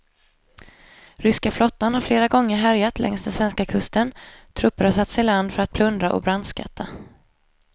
Ryska flottan har flera gånger härjat längs den svenska kusten, trupper har satts i land för att plundra och brandskatta.